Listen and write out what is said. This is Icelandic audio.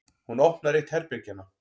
Hún opnar eitt herbergjanna.